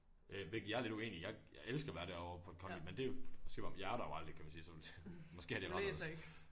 Øh hvilket jeg er lidt uenig i jeg jeg elsker at være deroppe på det kongelige men det er jo måske jeg er det jo aldrig kan man sige så måske er det anderledes